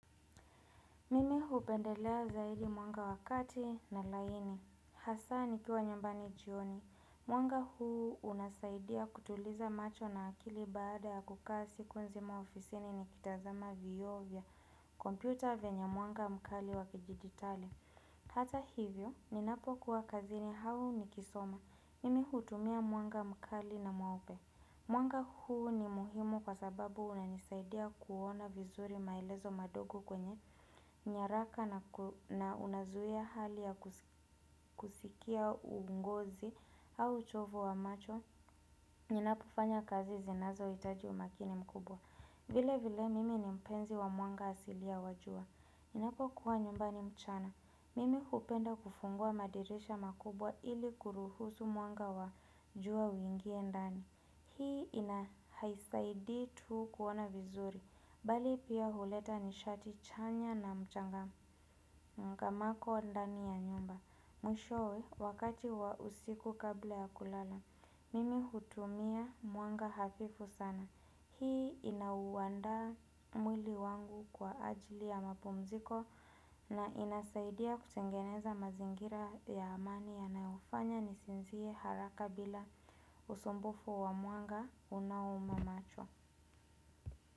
Mimi hupendelea zaidi mwanga wa kati na laini. Hasa nikiwa nyumbani jioni. Mwanga huu unasaidia kutuliza macho na akili baada ya kukaa siku nzima ofisini nikitazama vioo vya kompyuta vyenye mwanga mkali wa kidigitali. Hata hivyo, ninapokuwa kazini au nikisoma. Mimi hutumia mwanga mkali na mweupe. Mwanga huu ni muhimu kwa sababu unanisaidia kuona vizuri maelezo madogo kwenye nyaraka na unazuia hali ya kusikia uongozi au uchovo wa macho. Ninapofanya kazi zinazohitaji umakini mkubwa. Vile vile mimi ni mpenzi wa mwanga asilia wa jua. Ninapokuwa nyumbani mchana. Mimi hupenda kufungua madirisha makubwa ili kuruhusu mwanga wa jua uingie ndani. Hii ina haisaidii tu kuona vizuri, bali pia huleta nishati chanya na mchanga mako ndani ya nyumba. Mwishowe, wakati wa usiku kabla ya kulala, mimi hutumia mwanga hafifu sana. Hii inauandaa mwili wangu kwa ajili ya mapumziko na inasaidia kutengeneza mazingira ya amani yanayofanya nisinzie haraka bila usumbufu wa mwanga unauma macho.